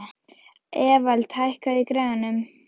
Evald, hækkaðu í græjunum.